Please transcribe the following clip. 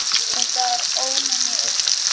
Þetta var ómenni og slóði.